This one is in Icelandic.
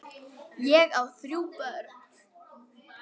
Ég á þrjú börn.